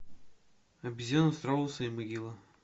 обезьяна страус и могила